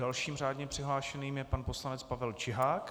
Dalším řádně přihlášeným je pan poslanec Pavel Čihák.